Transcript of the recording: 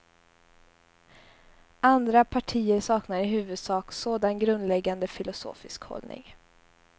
Andra partier saknar i huvudsak sådan grundläggande filosofisk hållning.